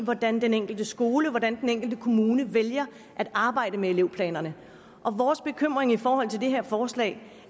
hvordan den enkelte skole hvordan den enkelte kommune vælger at arbejde med elevplanerne og vores bekymring i forhold til det her forslag